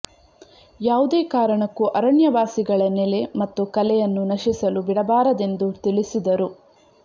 ಯಾವುದೇ ಕಾರಣಕ್ಕೂ ಅರಣ್ಯವಾಸಿಗಳ ನೆಲೆ ಮತ್ತು ಕಲೆಯನ್ನು ನಶಿಸಲು ಬಿಡಬಾರದೆಂದು ತಿಳಿಸಿದರು